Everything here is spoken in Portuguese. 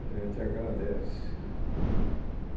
A gente agradece.